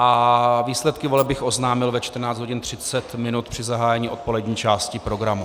A výsledky voleb bych oznámil ve 14.30 hodin při zahájení odpolední části programu.